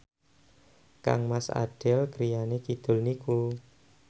kangmas Adele griyane kidul niku